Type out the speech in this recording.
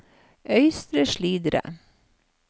Øystre Slidre